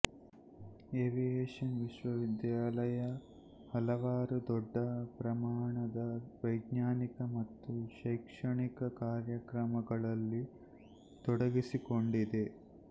aviation ವಿಶ್ವವಿದ್ಯಾಲಯ ಹಲವಾರು ದೊಡ್ಡ ಪ್ರಮಾಣದ ವೈಜ್ಞಾನಿಕ ಮತ್ತು ಶೈಕ್ಷಣಿಕ ಕಾರ್ಯಕ್ರಮಗಳಲ್ಲಿ ತೊಡಗಿಸಿಕೊಂಡಿದೆ